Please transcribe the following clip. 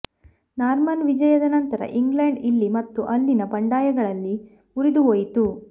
Norman ವಿಜಯದ ನಂತರ England ಇಲ್ಲಿ ಮತ್ತು ಅಲ್ಲಿನ ಬಂಡಾಯಗಳಲ್ಲಿ ಮುರಿದುಹೋಯಿತು